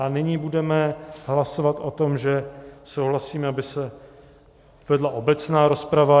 A nyní budeme hlasovat o tom, že souhlasíme, aby se vedla obecná rozprava.